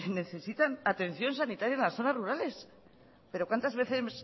necesitan atención sanitaria en las zonas rurales pero cuantas veces